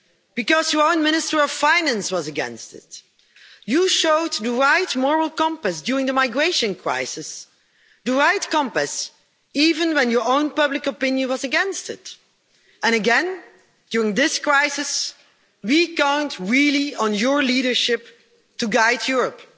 because your own Minister of Finance was against it. You showed the right moral compass during the migration crisis, the right compass, even when your own public opinion was against it, and again, during this crisis, we really count on your leadership to guide Europe.